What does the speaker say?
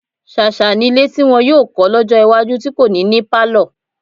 Ṣàṣà nílé tí wọn yóò kọ́ lọ́jọ́ iwájú tí kò ní ní pálọ̀.